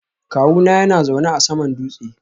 Kawuna yana zaune a saman dutse